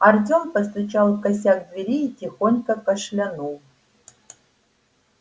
артем постучал в косяк двери и тихонько кашлянул